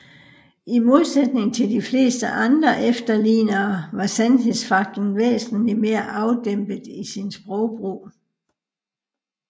I modsætning til de fleste andre efterlignere var Sandhedsfaklen væsentligt mere afdæmpet i sin sprogbrug